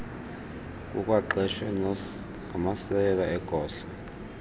kukwaqeshwe namasekela egosa